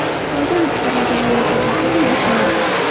Xitoyda muxbirni jonli efir vaqtida yashin urdi .